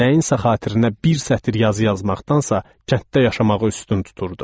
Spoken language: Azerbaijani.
Nəyinsə xatirinə bir sətr yazı yazmaqdansa, kənddə yaşamağı üstün tuturdu.